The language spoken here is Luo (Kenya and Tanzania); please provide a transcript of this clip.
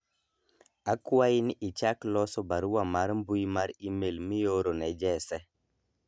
akwayi ni ichak loso barua mar mbui mar email mioro ne Jese